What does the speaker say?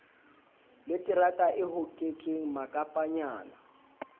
le terata e hoketsweng makapanyana